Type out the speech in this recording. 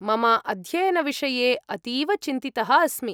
मम अध्ययनविषये अतीव चिन्तितः अस्मि।